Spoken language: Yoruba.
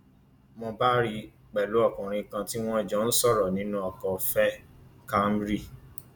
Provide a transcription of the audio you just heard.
mo bá rí i pẹlú ọkùnrin kan tí wọn jọ ń sọrọ nínú ọkọ veh camry